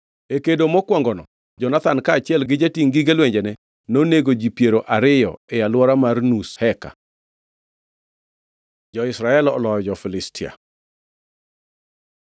E kedo mokwongono Jonathan kaachiel gi jatingʼ gige lwenjene nonego ji piero ariyo e alwora mar nus heka. Jo-Israel oloyo jo-Filistia